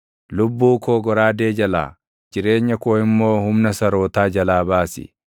Lubbuu koo goraadee jalaa, jireenya koo immoo humna sarootaa jalaa baasi.